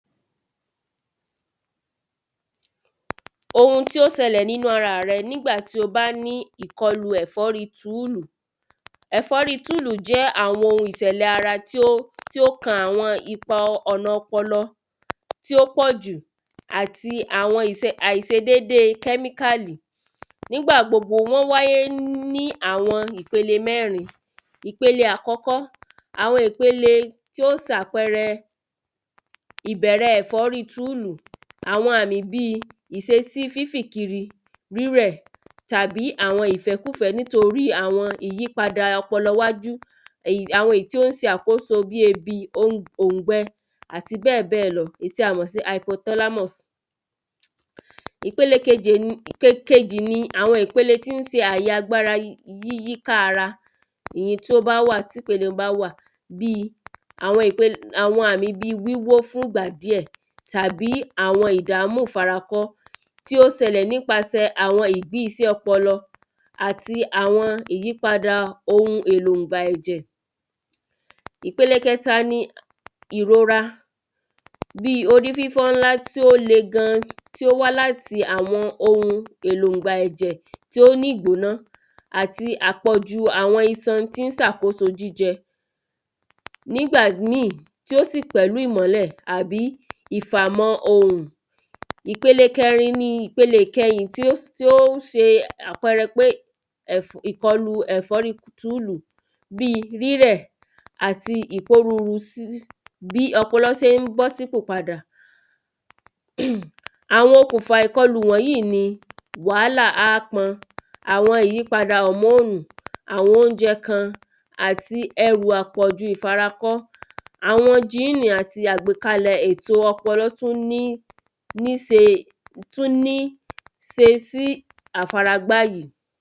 Ohun tí ó sẹlẹ̀ ní àgọ́ ara rẹ nígbà tí o bá ní ẹ̀fọ́rí túùlù. Ẹ̀fọ́rí túùlù jẹ́ àwọn ohun ìtẹ̀lẹ̀ ara tí ó tí ó kan àwọn ọ̀nà ipa ọpọlọ tí ó pọ̀ jù àti àwọn ise àìsedédé kẹ́míkàlì nígbàgbogbo wọ́n wáyé ní àwọn ìpele mẹ́rin. Ìpele àkọ́kọ́ àwọn ìpele tí ó sàpẹrẹ ìbẹ̀rẹ̀ ẹ̀fọ́rí túùlù. Àwọn àmì bí ìsesí fífì̀ kiri rírẹ̀ tàbí àwọn ìfẹ́kùfẹ́ nítorí àwọn ìyípadà ọpọlọ iwájú èyí àwọn èyí tí ó ń se àkóso bí òùngbẹ àti bẹ́ẹ̀ bẹ́ẹ̀ lọ èyí tí a mọ̀ sí hypoteramous. Ìpele kejì ni àwọn ìpele tí ń se àyè agbára yíká ara èyí tí ó bá wá tí ìpele un bá wà bí àwọn ìpele àwọn àmi wíwó fún ìgbà díẹ̀ tàbí àwọn ìdàmú ìfarakọ́ tí ó sẹlẹ̀ nípasẹ̀ àwọn ìdí isẹ́ ọpọlọ àti àwọn ìyípadà ohun èlo ìgbà ẹ̀jẹ̀. Ìpele kẹta ni ìrora bí orífífọ́ ńlá tí ó le gan tí ó wá láti àwọn ohun èlò ǹgbà ẹ̀jẹ̀ tí ó nígbóná àti àpọ̀jù àwọn isan tí ń sàkóso jíjẹ nígbà míì tí ó sì pẹ̀lú ìmọ́lẹ̀̀ àbí ìfàmọ́ ohùn. Ìpele kẹrin ni ìpele ìkẹyìn tí ó se àpẹrẹ pé ẹ̀fọ́ ìkọlù ẹ̀fọ́rí túùlù bí rírẹ̀ àti ìórúru sí bí ọpọlọ sé ń bọ́ sípò padà. Àwọn okùnfà ìkọlù yíì ni wàhálà ápọn àwọn ìyípadà hòmóònù àwọn óúnjẹ kan àti ẹrù àpọ̀ju ìfarakọ́. Àwọn jíìnì àti àwọn àgbékalè èto ọpọlọ tún ní ní se tún ní se sí àfara gbá yìí.